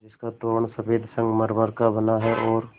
जिसका तोरण सफ़ेद संगमरमर का बना है और